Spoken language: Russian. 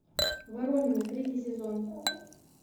воронины третий сезон